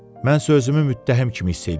Mən özümü müttəhim kimi hiss eləyirdim.